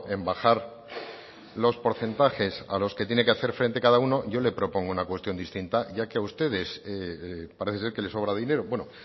en bajar los porcentajes a los que tiene que hacer frente cada uno yo le propongo una cuestión distinta ya que a ustedes parece ser que les sobra dinero bueno